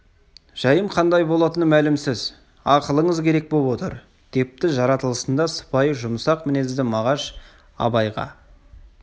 жайым қандай болатыны мәлімсіз ақылыңыз керек боп отыр депті жаратылысында сыпайы жұмсақ мінезді мағаш абайға кел